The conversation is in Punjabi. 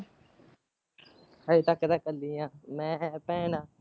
ਹਜੇ ਤੱਕ ਤੇ ਕਲੇ ਹੀ ਹਾਂ ਮੈਂ ਭੈਣ।